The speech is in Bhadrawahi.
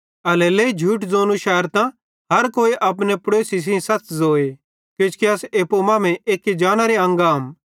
एल्हेरेलेइ झूठ ज़ोंनू शैरतां हर कोई अपने पड़ोसी सेइं सच़ ज़ोए किजोकि अस एप्पू मांमेइं एक्की जानेरे अंग आम